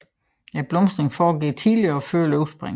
Blomstringen foregår tidligt og før løvspringet